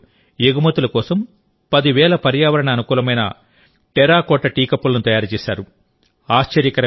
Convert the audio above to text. ఈ మహిళలు ఎగుమతుల కోసం పది వేల పర్యావరణ అనుకూలమైన టెర్రకోట టీ కప్పులను తయారు చేశారు